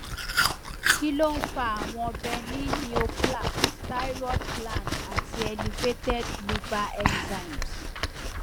kí ló ń fa àwọn benign neoplasm thyroid gland ati elevated liver enzymes